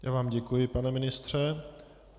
Já vám děkuji, pane ministře.